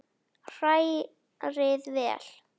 Hrærið vel.